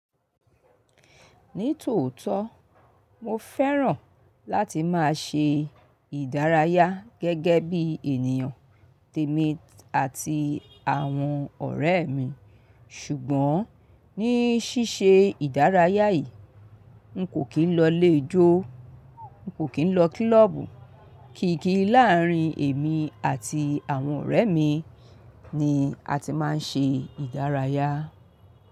Ní tòótọ́, mo fẹ́ràn láti máa ṣe ìdárayá gẹ́gẹ́ bí ènìyàn, tèmi àti àwọn ọ̀rẹ́ mi, ṣùgbọ́n ní ṣíṣe ìdárayá yìí, n kò kín lọ lè ijó, n kò kín lọ klọ́ọ̀bù, kì í kí láàárín èmi àti àwọn ọ̀rẹ́ mi ni a ti máa ń ṣe ìdárayá.